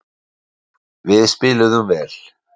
Við spiluðum vel.